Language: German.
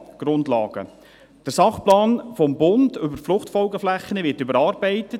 Der Sachplan Fruchtfolgeflächen (SP FFF) des Bundes wird überarbeitet.